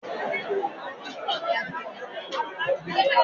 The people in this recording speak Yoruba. Ṣadé mọ̀ pó kò sí amúlẹ́tutù nínú ọkọ̀ ayọ́kẹ́lẹ́ mi.